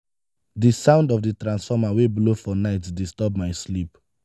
di sound of di transformer wey blow for night disturb my sleep.